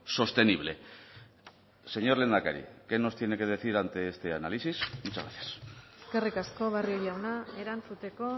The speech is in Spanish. sostenible señor lehendakari qué nos tiene que decir ante este análisis muchas gracias eskerrik asko barrio jauna erantzuteko